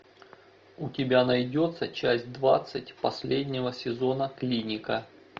у тебя найдется часть двадцать последнего сезона клиника